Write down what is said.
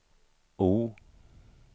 O